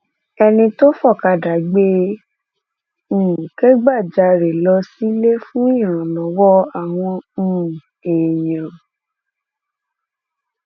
ẹni tó fọkadà gbé e um kẹgbajarè lọ sílé fún ìrànlọwọ àwọn um èèyàn